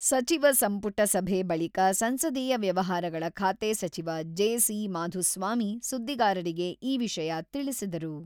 ಸಚಿವ ಸಂಪುಟ ಸಭೆ ಬಳಿಕ ಸಂಸದೀಯ ವ್ಯವಹಾರಗಳ ಖಾತೆ ಸಚಿವ ಜೆ.ಸಿ.ಮಾಧುಸ್ವಾಮಿ ಸುದ್ದಿಗಾರರಿಗೆ ಈ ವಿಷಯ ತಿಳಿಸಿದರು.